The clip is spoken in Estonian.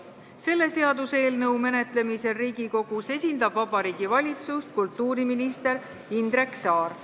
Selle seaduseelnõu menetlemisel Riigikogus esindab Vabariigi Valitsust kultuuriminister Indrek Saar.